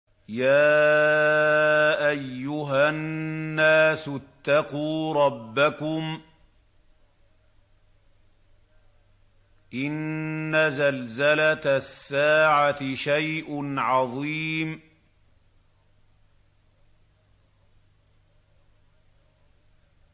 يَا أَيُّهَا النَّاسُ اتَّقُوا رَبَّكُمْ ۚ إِنَّ زَلْزَلَةَ السَّاعَةِ شَيْءٌ عَظِيمٌ